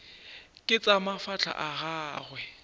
ke tša mafahla a gagwe